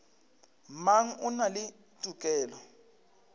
mang o na le tokelo